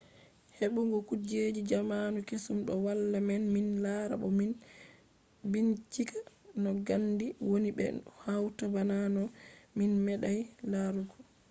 heɓɓugo kujeji zamanu kesum do walla men min lara bo min bincika no gandi woni be no huwata bana no min meeɗay larugo